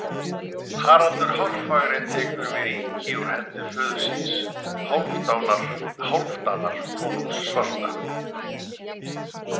Haraldur hárfagri tekur við ríki úr hendi föður síns, Hálfdanar konungs svarta.